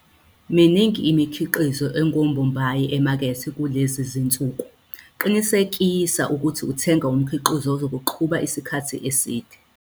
Miningi imikhiqizo engombombayi emakethe kulezi zinsuku, qinisekisa ukuba uthenga umkhiqizo ozokuqhuba isikhathi eside.